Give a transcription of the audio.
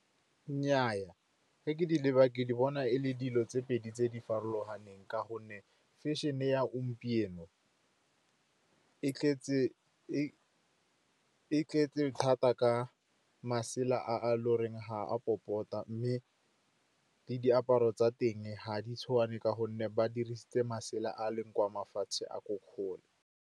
Nnnyaa, ga ke di leba, ke di bona e le dilo tse pedi tse di farologaneng, ka gonne fashion-e ya gompieno e tletse thata ka masela a loreng ga a popota, mme le diaparo tsa teng ga di tshwane ka gonne ba dirisitse masela a leng kwa mafatshe a ko kgole.